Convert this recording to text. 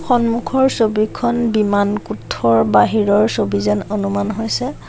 সন্মুখৰ ছবিখন বিমানকোঠৰ বাহিৰৰ ছবি যেন অনুমান হৈছে।